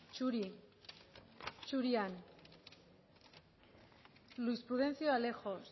zuri zurian luis prudencio alejos